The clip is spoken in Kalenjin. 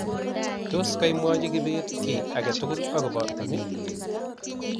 tos kaimwochi kibet kiy agetugul akobo ni